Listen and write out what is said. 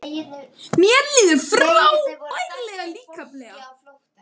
Mér líður frábærlega líkamlega